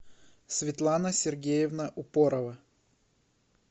светлана сергеевна упорова